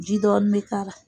ji dɔɔni be k'a la